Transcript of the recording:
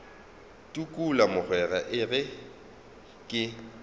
tukula mogwera e re ke